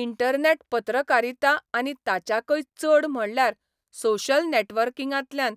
internet पत्रकारिता आनी ताच्याकय चड म्हणल्यार सोशल नेटवर्किंगांतल्यान